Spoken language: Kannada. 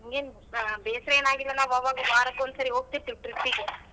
ನಂಗೆನ್ ಬೇಸರ ಏನ್ ಅಗಿಲ್ಲಲ್ಲ ನಾವ್ ಆವಾಗ ವಾರಕ್ಕೊಂದ್ ಸರಿ ಹೋಗ್ತಿರ್ತಿವಿ trip ಗೆ.